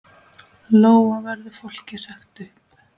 Lóa: Verður fólki sagt upp?